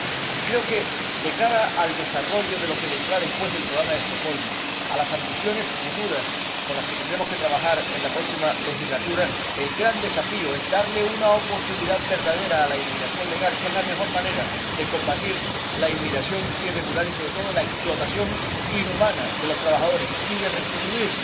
Y creo que, de cara al desarrollo de lo que vendrá después del Programa de Estocolmo, a las ambiciones futuras con las que tendremos que trabajar en la próxima legislatura, el gran desafío es darle una oportunidad verdadera a la inmigración legal, que es la mejor manera de combatir la inmigración irregular y, sobre todo, la explotación inhumana de los trabajadores y de restituir